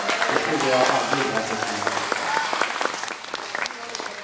Det trodde jag aldrig att jag skulle få uppleva.